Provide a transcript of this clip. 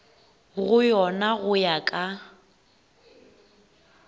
go yona go ya ka